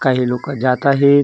काही लोक जात आहेत .